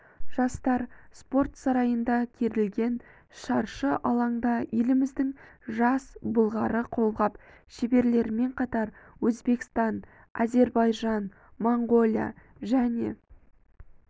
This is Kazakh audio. жастар спорт сарайында керілген шаршы алаңда еліміздің жас былғары қолғап шеберлерімен қатар өзбекстан әзербайжан моңғолия және